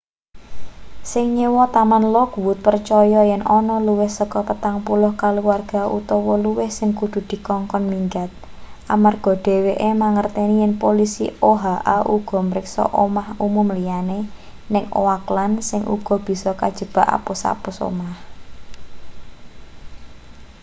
sing nyewa taman lockwood percaya yen ana luwih saka 40 kaluwarga utawa luwih sing kudu dikongkon minggat amarga dheweke mangerteni yen polisi oha uga mriksa omah umum liyane ning oakland sing uga bisa kajebak apus-apus omah